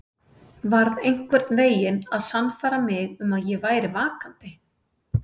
Varð einhvern veginn að sannfæra mig um að ég væri vakandi.